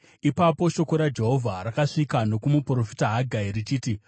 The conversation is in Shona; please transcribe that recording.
Ipapo shoko raJehovha rakasvika nokumuprofita Hagai richiti,